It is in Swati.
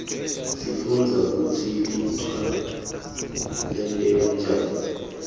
sifundza kutsi lichwa lenteka njani